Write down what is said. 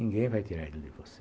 Ninguém vai tirar ele de você.